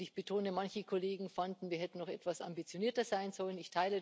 Ich betone Manche Kollegen fanden, wir hätten noch etwas ambitionierter sein sollen.